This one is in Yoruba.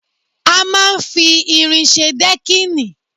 A máa ń fi irin ṣe dẹ́kìnì